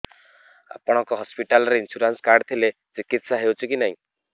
ଆପଣଙ୍କ ହସ୍ପିଟାଲ ରେ insurance card ଥିଲେ ଚିକିତ୍ସା ହେଉଛି କି ନାଇଁ